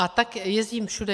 A tak jezdím všude.